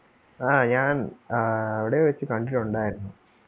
ആ ഞാൻ ആഹ് എവിടെയോ വച്ച് കണ്ടിട്ടൊണ്ടാരുന്നു.